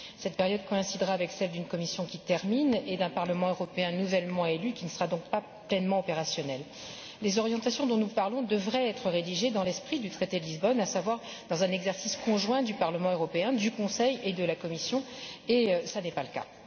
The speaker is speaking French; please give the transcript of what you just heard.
Cette période coïncidera avec celle d'une Commission en fin de mandat et d'un Parlement européen nouvellement élu qui ne sera donc pas pleinement opérationnel. Les orientations dont nous parlons devraient être rédigées dans l'esprit du traité de Lisbonne, à savoir dans un exercice conjoint du Parlement européen, du Conseil et de la Commission, et cela n'est pas le cas.